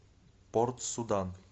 порт судан